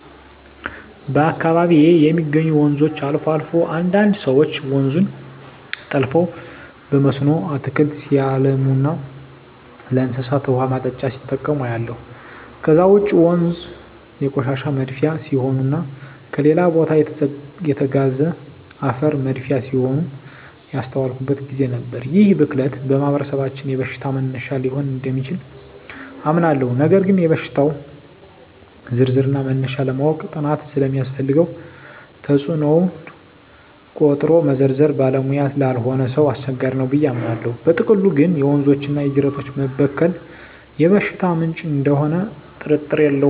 በአካባቢየ የሚገኙ ወንዞች አልፎ አልፎ አንዳንድ ሰወች ወንዙን ጠልፈው በመስኖ አትክልት ሲያለሙና ለእንስሳት ውሃ ማጠጫ ሲጠቀሙ አያለሁ። ከዛ ውጭ ወንዞ የቆሻሻ መድፊያ ሲሆኑና ከሌላ ቦታ የተጋዘ አፈር መድፊያ ሲሆኑም ያስተዋልኩበት ግዜ ነበር። ይህ ብክለት በማህበረሰባችን የበሽታ መነሻ ሊሆን እደሚችል አምናለሁ ነገር ግን የሽታወች ዝርዝርና መነሻ ለማወቅ ጥናት ስለሚያስፈልገው ተጽኖውን ቆጥሮ መዘርዘር ባለሙያ ላልሆነ ሰው አስቸጋሪ ነው ብየ አምናለው። በጥቅሉ ግን የወንዞችና የጅረቶች መበከል የበሽታ ምንጭ እደሚሆኑ ጥርጥር የለውም።